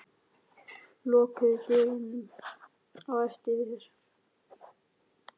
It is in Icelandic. Lokaðu dyrunum á eftir þér.